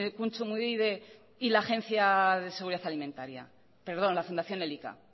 kontsumobide y la fundación elika